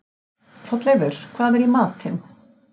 Hrolleifur, hvað er í matinn?